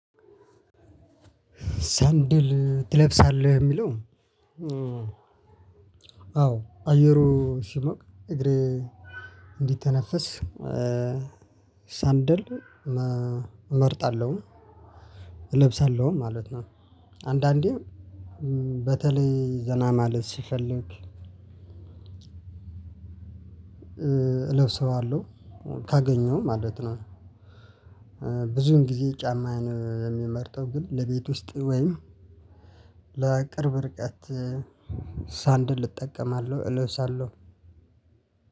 ሰንደል ትለብሳለህ የሚለው? አዎ አየሩ ሲሞቅ እግሬ እንዲተነፍስ ሰንደል እመርጣለሁ እለብሳለሁ ማለት ነው። አንዳንዴም በተለይ ዘና ማለት ስፈልግ እለብሰዋለሁ ካገኘው ማለት ነው። ብዙን ጊዜ ጫማዬን የምመርጠው ግን ለቤት ውስጥ ወይም ለቅርብ ርቀት ሰንደል እጠቀማለሁ እለብሳለሁ።